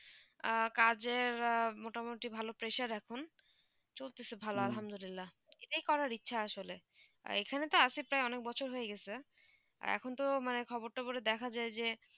কাজে মোটা মতি ভালো pressure আখন চলতে তে ভালো এইটা করা ইচ্ছা আসলে আর এখানে তো আসিফ অনেক বছর হয়ে গিয়েছে আর এখন তো খবর টোৱে দেখা যায় যে